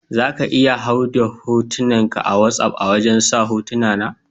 Za ka iya hau da hotunan ka a wassap a wajen sa hotuna.